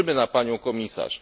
Liczymy na Panią Komisarz!